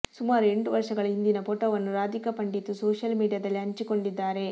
ಸುಮಾರು ಎಂಟು ವರ್ಷಗಳ ಹಿಂದಿನ ಫೋಟೋವನ್ನು ರಾಧಿಕಾ ಪಂಡಿತ್ ಸೋಷಿಯಲ್ ಮೀಡಿಯಾದಲ್ಲಿ ಹಂಚಿಕೊಂಡಿದ್ದಾರೆ